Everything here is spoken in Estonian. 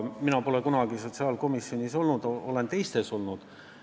Mina pole kunagi sotsiaalkomisjonis olnud, olen teistes olnud.